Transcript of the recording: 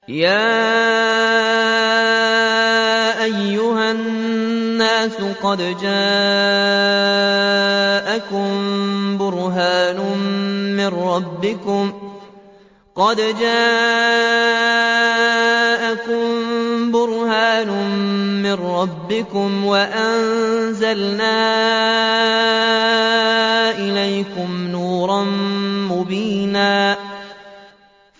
يَا أَيُّهَا النَّاسُ قَدْ جَاءَكُم بُرْهَانٌ مِّن رَّبِّكُمْ وَأَنزَلْنَا إِلَيْكُمْ نُورًا مُّبِينًا